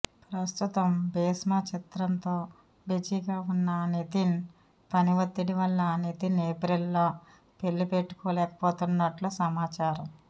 ప్రస్తుతం భీష్మ చిత్రంతో బిజీగా ఉన్న నితిన్ పని ఒత్తిడి వల్ల నితిన్ ఏప్రిల్లో పెళ్లి పెట్టుకోలేకపోతున్నట్లు సమాచారం